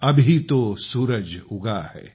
अभी तो सुरज उगा है